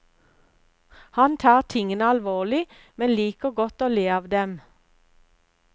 Han tar tingene alvorlig, men liker godt å le av dem.